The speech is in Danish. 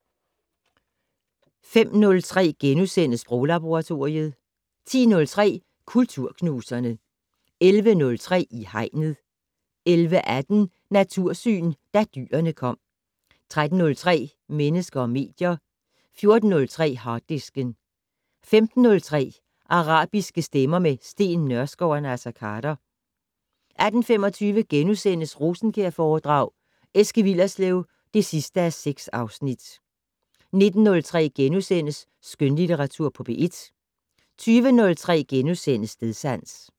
05:03: Sproglaboratoriet * 10:03: Kulturknuserne 11:03: I Hegnet 11:18: Natursyn: Da dyrene kom 13:03: Mennesker og medier 14:03: Harddisken 15:03: Arabiske stemmer - med Steen Nørskov og Naser Khader 18:25: Rosenkjærforedrag: Eske Willerslev (6:6)* 19:03: Skønlitteratur på P1 * 20:03: Stedsans *